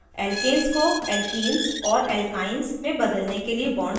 * alkenes को alkenes और alkenes में बदलने के लिए bonds जोड़ना